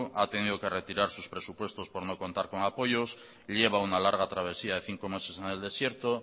ha tenido que retirar sus presupuestos por no contar con apoyos lleva una larga travesía de cinco meses en el desierto